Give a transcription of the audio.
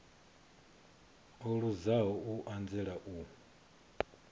o luzaho u anzela u